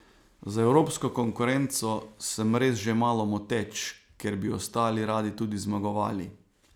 Za evropsko konkurenco sem res že malo moteč, ker bi ostali radi tudi zmagovali.